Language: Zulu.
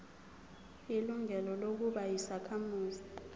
ilungelo lokuba yisakhamuzi